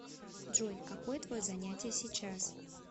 джой какое твое занятие сейчас